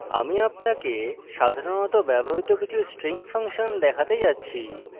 আমি আপনাকে সাধারণত ব্যবহৃত কিছু string ফাংশন দেখাতে যাচ্ছি